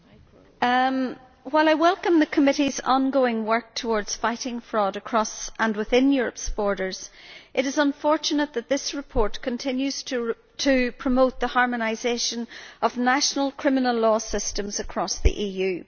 Mr President, while I welcome the committee's ongoing work towards fighting fraud across and within Europe's borders, it is unfortunate that this report continues to promote the harmonisation of national criminal law systems across the EU.